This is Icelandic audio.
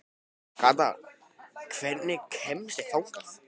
Kata, hvernig kemst ég þangað?